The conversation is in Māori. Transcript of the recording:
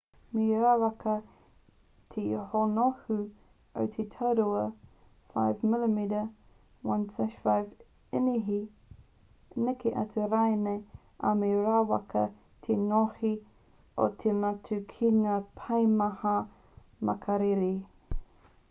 me rawaka te hōhonu o te tauira 5 mm 1/5 inihi neke atu rānei ā me rawaka te ngohe o te matū ki ngā paemahana makariri